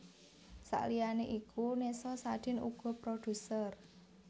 Saliyané iku Nessa Sadin uga produser